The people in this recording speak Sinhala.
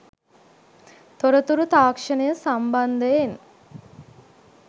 තොරතුරු තාක්ෂණය සම්බන්ධයෙන්